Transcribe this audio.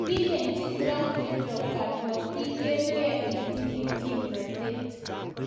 Kilenji Trump Erdogan: '' motiger gee itinye kimnatet''.